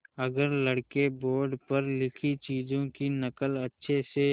अगर लड़के बोर्ड पर लिखी चीज़ों की नकल अच्छे से